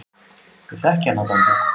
Ég þekki hana dálítið.